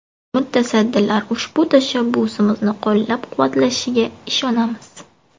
Mutasaddilar ushbu tashabbusimizni qo‘llab-quvvatlashiga ishonamiz”.